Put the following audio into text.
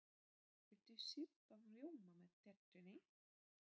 Viltu sýrðan rjóma með tertunni?